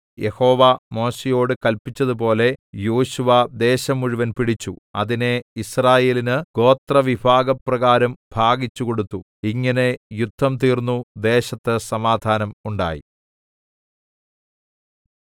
യഹോവ മോശെയോട് കല്പിച്ചതുപോലെ യോശുവ ദേശം മുഴുവനും പിടിച്ചു അതിനെ യിസ്രായേലിന് ഗോത്രവിഭാഗപ്രകാരം ഭാഗിച്ചു കൊടുത്തു ഇങ്ങനെ യുദ്ധം തീർന്നു ദേശത്ത് സമാധാനം ഉണ്ടായി